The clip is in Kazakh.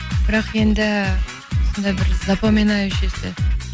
бірақ енді сондай бір запоминающийся